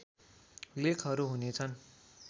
लेखहरू हुनेछन्